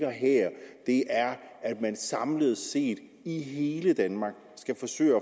her er at man samlet set i hele danmark skal forsøge at